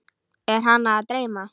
Er hana að dreyma?